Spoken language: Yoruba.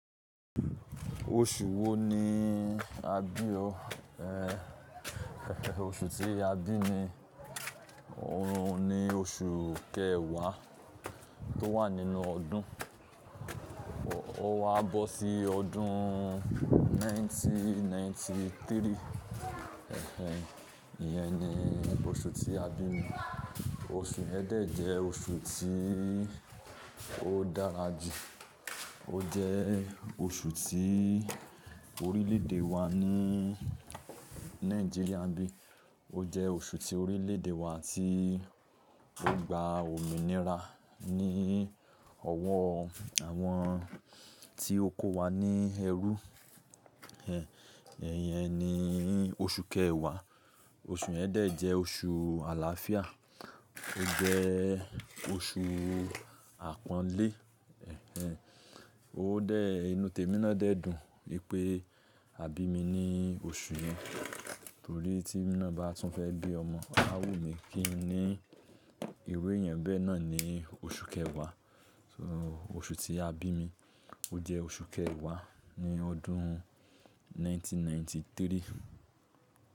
Oṣù wo ni a bí o? Oṣù tí a bí mi, òun ni oṣù kẹwàá tó wà nínú ọdún. Ó wá bọ́ sí ọdún ẹgbẹ̀rún kan ó lé ọgọ́rùn-ún mẹ́sàn-án ó lé ẹ́tàlélọ́gọ́rùn-ún. Ẹ̀hẹ̀n, ìyẹn ni oṣù tí a bí mi. Oṣù Ẹ̀ẹ́dẹ́ jẹ́ oṣù tí ó dára jù. Ó jẹ́ oṣù tí orílè èdè wa ní Nàìjíríà n bí i. Ó jẹ́ oṣù tí orílè èdè wa tí ó ń gba òmìnira ní ọwọ́ àwọn tí ó kó wa ní ẹrú. Ẹ̀hẹ̀n, èyẹn ni oṣù kẹwàá. Oṣù Ẹ̀ẹ́dẹ́ jẹ́ oṣù àlàáfíà. Ó jẹ́ oṣù àpọ́nlé. Ẹ̀hẹ̀n, ó dẹ̀ inú Temi náà dẹ́ dùn wípé a bí mi ní oṣù náà. Torí tí èmi náà bá tún fẹ́ bí ọmọ, a wù mí kí n ní irú èèyàn bẹẹ. Bẹ́ẹ̀ náà ni oṣù kẹwàá. So oṣù tí a bí mi, ó jẹ́ oṣù kẹwàá ní ọdún ẹgbẹ̀rún kan ó lé ọgọ́rùn-ún mẹ́sàn-án ó lé ẹ́tàlélọ́gọ́rùn-ún.